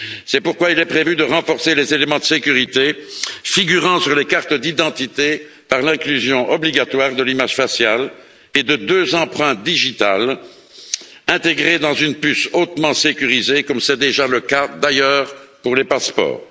C'est pourquoi il est prévu de renforcer les éléments de sécurité figurant sur les cartes d'identité par l'inclusion obligatoire de l'image faciale et de deux empreintes digitales intégrées dans une puce hautement sécurisée, comme c'est déjà le cas, d'ailleurs, pour les passeports.